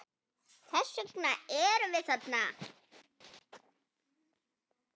Þess vegna erum við þarna.